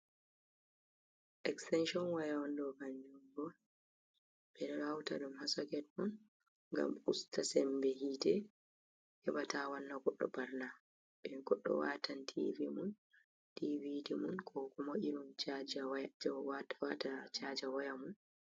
Eksitanshon waya on ɗo kanjum ɓo. Ɓe ɗo hauta ɗum ha soket on, ngam usta semɓe hite, heɓa ta wanna goɗɗo ɓana. Ɓe goɗɗo watan tivi mum, ɗiviɗi mum, ko kuma irin wata chaja waya mum.